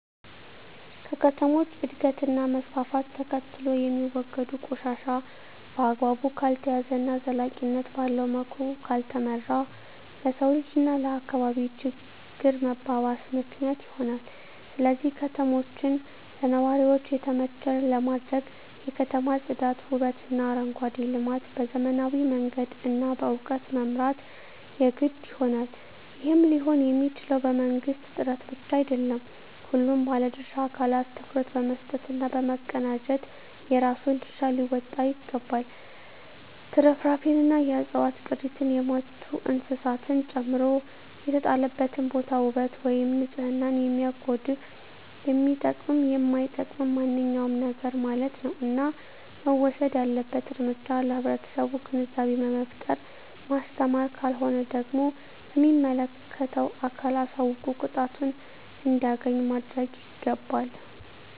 ከከተሞች እድገት እና መስፍፍት ተከትሎየሚወገዱ ቆሻሻ በአግባቡ ካልተያዘ እና ዘላቂነት ባለዉ መልኩ ካልተመራ ለሰዉ ልጅ እና ለአካባቢ ችግር መባባስ ምክንያት ይሆናል ስለዚህ ከተማችን ለነዋሪዎች የተመቸ ለማድረግ የከተማ ፅዳት ዉበትእና አረንጓዴ ልማት በዘመናዊ መንገድ እና በእዉቀት መምራት የግድ ይሆናል ይህም ሊሆንየሚችለዉ በመንግስት ጥረት ብቻ አይደለም ሁሉም ባለድርሻ አካላት ትኩረት በመስጠት እና በመቀናጀት የራሱን ድርሻ ሊወጣ ይገባል ትርፍራፊንእና የዕፅዋት ቅሪትን የሞቱ እንስሳትን ጨምሮ የተጣለበትን ቦታ ዉበት ወይም ንፅህናን የሚያጎድፍ የሚጠቅምም የማይጠቅምም ማንኛዉም ነገርማለት ነዉ እና መወሰድ ያለበት እርምጃ ለህብረተሰቡ ግንዛቤ በመፍጠር ማስተማር ካልሆነ ደግሞ ለሚመለከተዉ አካል አሳዉቆ ቅጣቱን እንዲያገኝ ማድረግይገባል